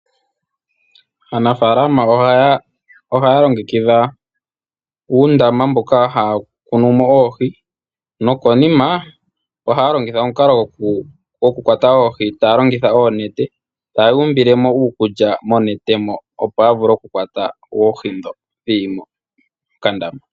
Aanafaalama ohaya longekidha uundama mboka haya kunu mo oohi, nokonima ohaya longitha omukalo gokukwata oohi taya longitha oonete, taya umbulemo uukulya monete mo opo ya vule oku kwata oohi ndho dhi li mokandama.